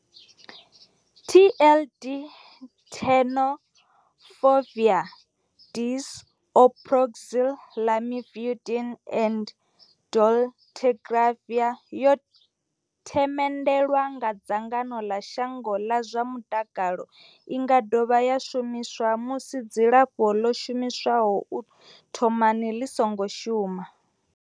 TLD, Tenofovir disoproxil, Lamivudine and dolutegravir, yo themendelwa nga dzangano ḽa shango ḽa zwa mutakalo. I nga dovha ya shumiswa musi dzilafho ḽo shumiswaho u thomani ḽi songo shuma.